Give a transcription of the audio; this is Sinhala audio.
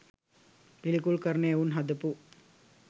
පිළිකුල් කරන එවුන් හදපු